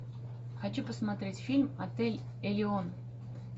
хочу посмотреть фильм отель элеон